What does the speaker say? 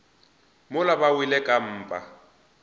mola ba wele ka mpa